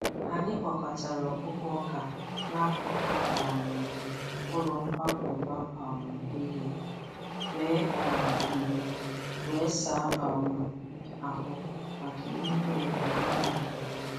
Anyị kpokọtara ọkpụkpụ ọka n’akụkụ um ụlọ nkwakọba um ihe, wee um ihe, wee saa um ahụ maka emume owuwe ihe ubi.